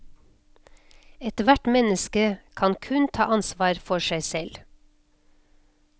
Ethvert menneske kan kun ta ansvar for seg selv.